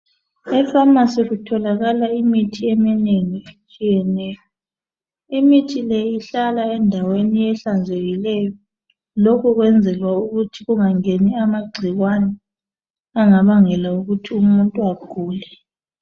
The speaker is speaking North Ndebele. Efamasi kutholakala imithi eminengi etshiyeneyo imithi le ihlala endaweni ehlanzekileyo lokho kuyenzela ukuthi ingangeni amagcikwane angabangela ukuthi umuntu agule.